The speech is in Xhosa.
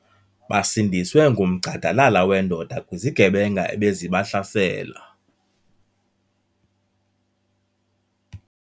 Basindiswe ngumgxadalala wendoda kwizigebenga ebezibahlasela.